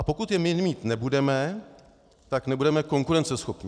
A pokud je my mít nebudeme, tak nebudeme konkurenceschopní.